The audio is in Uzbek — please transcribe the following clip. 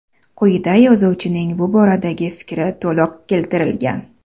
Quyida yozuvchining bu boradagi fikri to‘liq keltirilgan.